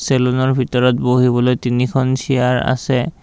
চেলুনৰ ভিতৰত বহিবলৈ তিনিখন চিয়াৰ আছে।